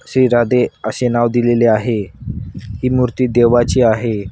श्री राधे अशे नाव दिलेले आहे ही मूर्ती देवाची आहे.